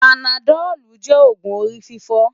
Pánádòlú jè ógún óri fifò